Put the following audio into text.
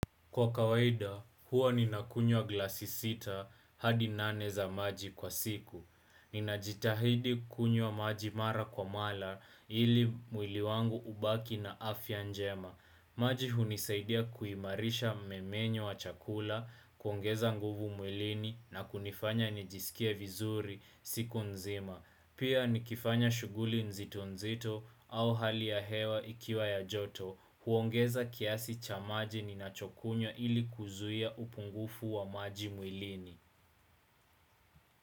Kwa kawaida, huwa ninakunywa glasi sita hadi nane za maji kwa siku. Ninajitahidi kunywa maji mara kwa mara ili mwili wangu ubaki na afya njema. Maji hunisaidia kuimarisha mmemenyo wa chakula, kuongeza nguvu mwilini na kunifanya nijisikie vizuri siku nzima. Pia nikifanya shuguli nzito nzito au hali ya hewa ikiwa ya joto. Huongeza kiasi cha maji ninachokunyo ili kuzuia upungufu wa maji mwilini.